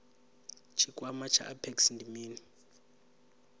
tshikwama tsha apex ndi mini